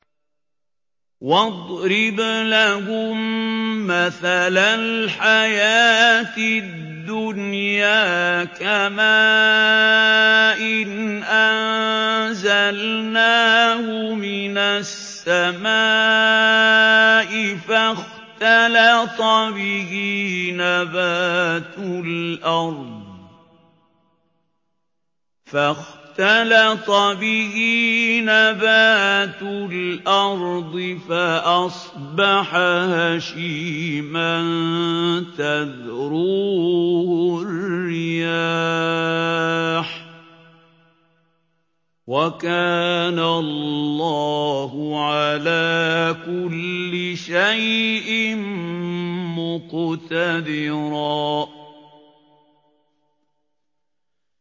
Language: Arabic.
وَاضْرِبْ لَهُم مَّثَلَ الْحَيَاةِ الدُّنْيَا كَمَاءٍ أَنزَلْنَاهُ مِنَ السَّمَاءِ فَاخْتَلَطَ بِهِ نَبَاتُ الْأَرْضِ فَأَصْبَحَ هَشِيمًا تَذْرُوهُ الرِّيَاحُ ۗ وَكَانَ اللَّهُ عَلَىٰ كُلِّ شَيْءٍ مُّقْتَدِرًا